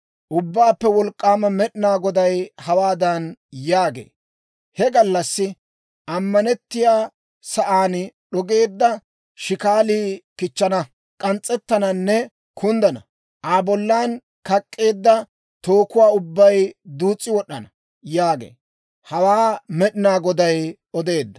Ubbaappe Wolk'k'aama Med'inaa Goday hawaadan yaagee; «He gallassi ammanettiyaa sa'aan d'ogeedda shikaalii kichchana; k'ans's'ettananne kunddana. Aa bollan kak'k'eedda tookuwaa ubbay duus's'i wod'd'ana» yaagee. Hawaa Med'inaa Goday odeedda.